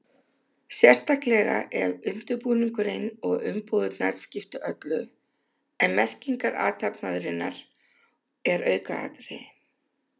Sérstaklega ef undirbúningurinn og umbúðirnar skipta öllu en merking athafnarinnar er aukaatriði.